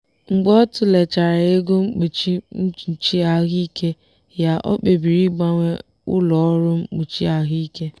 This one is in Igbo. mgbe ọ tụlechara ego mkpuchi mkpuchi ahụike ya o kpebiri ịgbanwe ụlọ ọrụ mkpuchi ahụike.